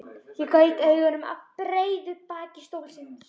Ég gaut augum að breiðu baki stólsins.